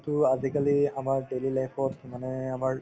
তু আজিকালি আমাৰ daily life ত মানে আমাৰ